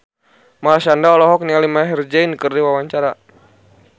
Marshanda olohok ningali Maher Zein keur diwawancara